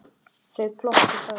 Þau glottu bæði.